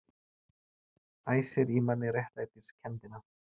Æsir í manni réttlætiskenndina